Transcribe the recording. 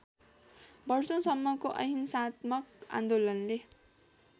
वर्षौंसम्मको अहिंसात्मक आन्दोलनले